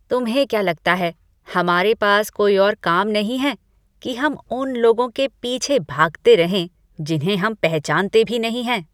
तुम्हें क्या लगता है, हमारे पास कोई और काम नहीं है कि हम उन लोगों के पीछे भागते रहें जिन्हें हम पहचानते भी नहीं हैं?